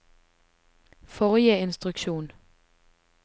forrige instruksjon